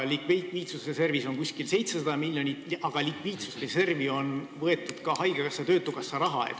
Likviidsusreservis on umbes 700 miljonit, aga sinna on võetud ka haigekassa ja töötukassa raha.